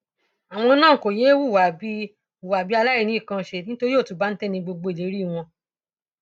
àwọn náà kò yéé hùwà bíi hùwà bíi aláìníkanánṣe nítorí òtúbáńtẹ ní gbogbo ìlérí wọn